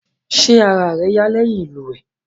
Ṣé ara rẹ yá lẹ́yìn ìlúwèé?